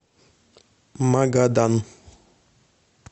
магадан